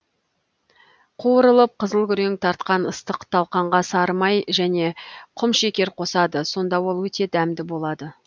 қуырылып қызыл күрең тартқан ыстық талқанға сары май және құмшекер қосады сонда ол өте дәмді болады